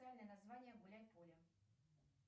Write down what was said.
официальное название гуляй поле